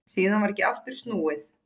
Síðan varð ekki aftur snúið.